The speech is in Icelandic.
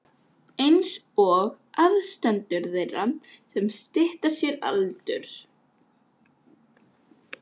einsog aðstandendur þeirra sem stytta sér aldur.